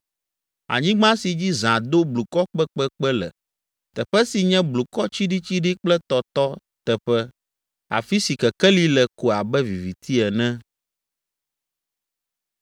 anyigba si dzi zã do blukɔ kpekpekpe le, teƒe si nye blukɔ tsiɖitsiɖi kple tɔtɔ teƒe, afi si kekeli le ko abe viviti ene.’ ”